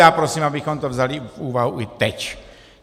Já prosím, abychom to vzali v úvahu i teď.